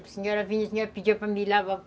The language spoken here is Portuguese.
A senhora vinha